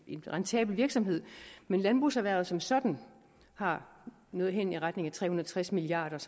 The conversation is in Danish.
en rentabel virksomhed men landbrugserhvervet som sådan har noget hen i retning af tre hundrede og tres milliard